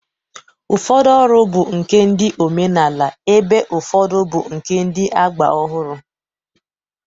Ụfọdụ ọrụ bụ nke ndị omenala ebe ụfọdụ bụ nke ndị agba ọhụrụ